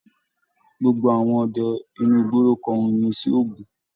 Gbogbo àwọn ọdẹ inú igbó lo kọrin iyìn sí ògún.